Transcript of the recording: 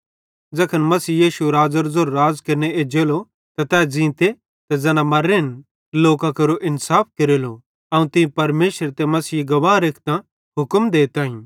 ज़ैखन मसीह यीशु राज़ेरो ज़ेरो राज़ केरने एज्जेलो त तै ज़ींते ते ज़ैना मर्रेन लोकां केरो इन्साफ केरेलो अवं तीं परमेशरे ते मसीहे गवाह रेखतां हुक्म देताईं